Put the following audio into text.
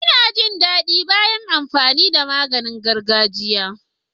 Ina jin daɗi bayan amfani da ganyen gargajiya.